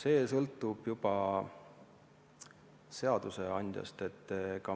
See sõltub juba seadusandjast.